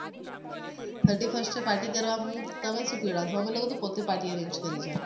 thirty first એ party કરવા હુ તમે શુ પીવડાવશો અમે લોકો તો પોતે party arrange કરી છે